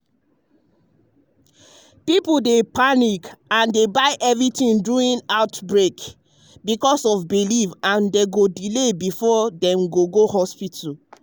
people dey panic and buy everything during outbreak because of belief and dem go delay before dem go hospital.